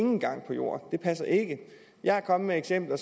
nogen gang på jord det passer ikke jeg er kommet med eksempler